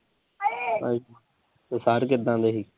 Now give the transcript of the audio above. ਅੱਛਾ। ਤੇ ਸਾਰ ਕਿੱਦਾਂ ਦੇ ਸੀ?